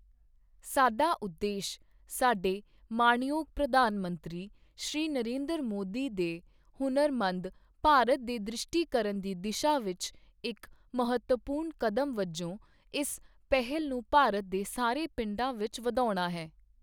ਸਾਡਾ ਉਦੇਸ਼ ਸਾਡੇ ਮਾਣਯੋਗ ਪ੍ਰਧਾਨ ਮੰਤਰੀ ਸ਼੍ਰੀ ਨਰਿੰਦਰ ਮੋਦੀ ਦੇ ਹੁਨਰਮੰਦ ਭਾਰਤ ਦੇ ਦ੍ਰਿਸ਼ਟੀਕਰਨ ਦੀ ਦਿਸ਼ਾ ਵਿੱਚ ਇੱਕ ਮਹੱਤਵਪੂਰਨ ਕਦਮ ਵਜੋਂ ਇਸ ਪਹਿਲ ਨੂੰ ਭਾਰਤ ਦੇ ਸਾਰੇ ਪਿੰਡਾਂ ਵਿੱਚ ੜਧਾਉਣਾ ਹੈ।